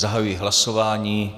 Zahajuji hlasování.